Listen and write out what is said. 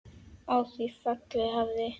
Á því fjalli hafði